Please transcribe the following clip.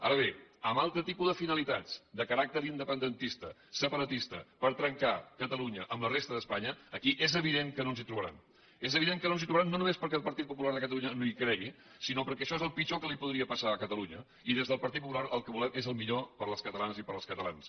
ara bé amb altre tipus de finalitats de caràcter independentista separatista per trencar catalunya amb la resta d’espanya aquí és evident que no ens hi trobaran és evident que no ens hi trobaran no només perquè el partit popular de catalunya no hi cregui sinó perquè això és el pitjor que li podria passar a catalunya i des del partit popular el que volem és el millor per a les catalanes i per als catalans